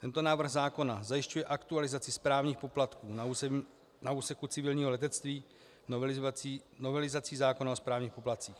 Tento návrh zákona zajišťuje aktualizaci správních poplatků na úseku civilního letectví novelizací zákona o správních poplatcích.